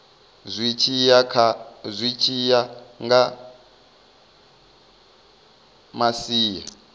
zwi tshi ya nga masia